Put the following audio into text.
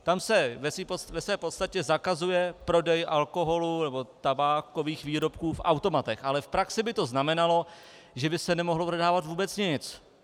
Tam se ve své podstatě zakazuje prodej alkoholu nebo tabákových výrobků v automatech, ale v praxi by to znamenalo, že by se nemohlo prodávat vůbec nic.